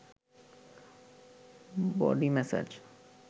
body massage